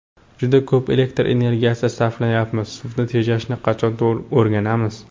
Juda ko‘p elektr energiyasi sarflayapmiz. Suvni tejashni qachon o‘rganamiz?